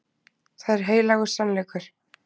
Það er heilagur sannleikur.